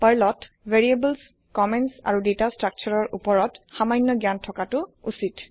পাৰ্লত variable comments আৰু data structure উপৰত সামান্য জ্ঞান থকা ঊচ্চিত